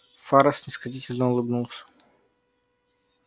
фара снисходительно улыбнулся